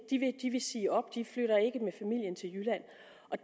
vil sige op de flytter ikke med familien til jylland